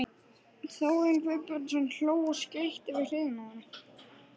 Þórarinn Guðbjörnsson hló og skríkti við hliðina á henni.